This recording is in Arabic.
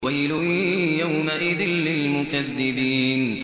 وَيْلٌ يَوْمَئِذٍ لِّلْمُكَذِّبِينَ